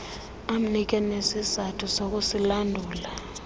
amnike nezizathu zokusilandula